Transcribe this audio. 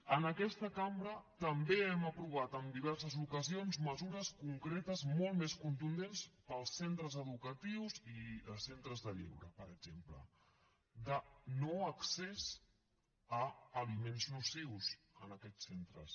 en aquesta cambra també hem aprovat en diverses ocasions mesures concretes molt més contundents per als centres educatius i centres de lleure per exemple de no accés a aliments nocius en aquests centres